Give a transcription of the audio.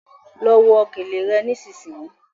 Ló wọ gèlè rẹ nísìsiyìí!